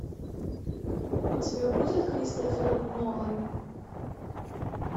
у тебя будет кристофер нолан